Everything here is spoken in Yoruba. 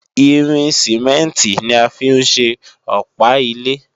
Irin Sìmẹ́ǹtì ni a fi ń ṣe Ọ̀pá ilé